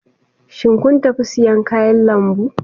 Shin kun tafi siyan kayan lambu?